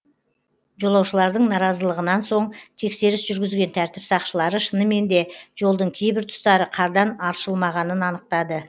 жолаушылардың наразылығынан соң тексеріс жүргізген тәртіп сақшылары шынымен де жолдың кейбір тұстары қардан аршылмағанын анықтады